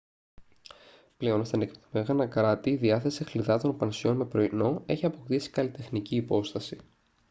πλέον στα ανεπτυγμένα κράτη η διάθεση χλιδάτων πανσιόν με πρωινό έχει αποκτήσει καλλιτεχνική υπόσταση